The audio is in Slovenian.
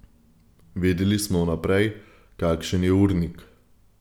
Vedeli smo vnaprej, kakšen je urnik.